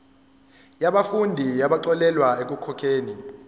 yabafundi abaxolelwa ekukhokheni